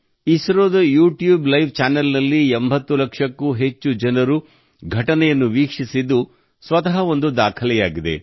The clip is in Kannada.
ಇಸ್ರೋದ ಯೂಟ್ಯೂಬ್ ಲೈವ್ ಚಾನೆಲ್ನಲ್ಲಿ 80 ಲಕ್ಷಕ್ಕೂ ಹೆಚ್ಚು ಜನರು ಘಟನೆಯನ್ನು ವೀಕ್ಷಿಸಿದ್ದು ಸ್ವತಃ ಒಂದು ದಾಖಲೆಯಾಗಿದೆ